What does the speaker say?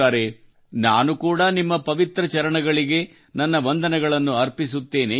ನಾನು ಕೂಡಾ ನಿಮ್ಮ ಪವಿತ್ರ ಚರಣಗಳಿಗೆ ನನ್ನ ವಂದನೆಗಳನ್ನು ಅರ್ಪಿಸುತ್ತೇನೆ ಎಂದರ್ಥ